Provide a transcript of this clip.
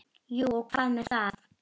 Jú og hvað með það!